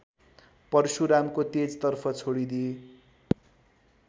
परशुरामको तेजतर्फ छोडिदिए